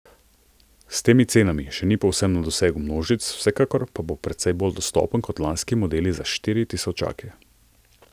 S temi cenami še ni povsem na dosegu množic, vsekakor pa precej bolj dostopen kot lanski modeli za štiri tisočake.